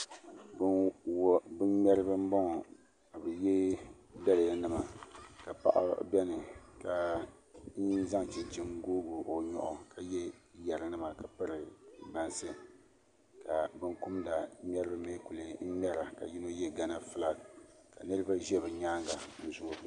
Bin ŋmɛribi n boŋo ka bi yɛ daliya nima ka paɣa biɛni ka yino zaŋ chunchini n googi o nyoɣu ka yɛ yɛri nima ka piri bansi ka binkumda ŋmɛribi lee ku ŋmɛra ka yino yɛ gana fulak ka niraba ʒɛ bi nyaanga n zoogi